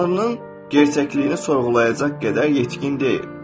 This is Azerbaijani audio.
Tanrının gerçəkliyini sorğulayacaq qədər yetkin deyil.